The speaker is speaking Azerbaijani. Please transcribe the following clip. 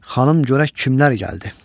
Xanım görək kimlər gəldi.